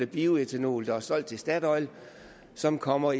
bioætanol der er solgt til statoil og som kommer